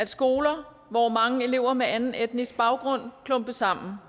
skoler hvor mange elever med anden etnisk baggrund klumpes sammen